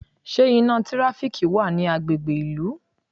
Ṣé iná tíráfíkì wa ni agbègbè ìlú?